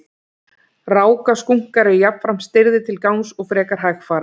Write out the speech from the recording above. Rákaskunkar eru jafnframt stirðir til gangs og frekar hægfara.